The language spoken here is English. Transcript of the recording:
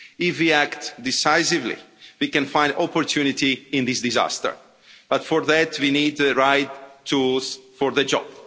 If we act decisively we can find opportunity in this disaster. But for that we need the right tools for the job.